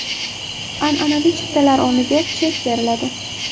An’anaviy chiptalar o‘rniga chek beriladi.